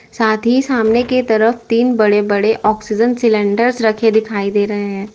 साथ ही सामने के तरफ तीन बड़े बड़े ऑक्सीजन सिलेंडरस रखे दिखाई दे रहे हैं।